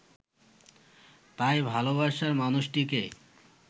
তাই ভালোবাসার মানুষটিকে